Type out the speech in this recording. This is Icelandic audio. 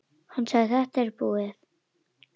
Hann sagði: Þetta er búið.